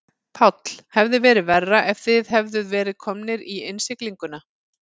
Páll: Hefði verið verra ef þið hefðuð verið komnir í innsiglinguna?